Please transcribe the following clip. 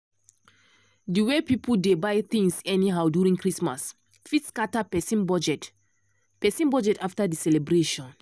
the way people dey buy things anyhow during christmas fit scatter person budget person budget after the celebration.